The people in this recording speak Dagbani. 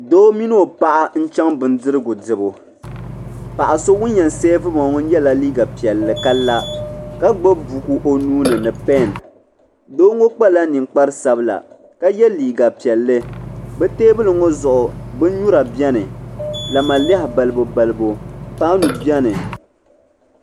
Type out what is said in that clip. Doo mini o paɣa n chaŋ bindirigu dibu paɣa so ŋun yen seevi ba ŋɔ yela liiga piɛlli ka la ka gbibi buku o nuuni ni peni doo ŋɔ kpala ninkpari sabla ka ye liiga piɛlli bɛ teebuli ŋɔ zuɣu binnyura beni lamalehi balibu balibu paanu biɛni.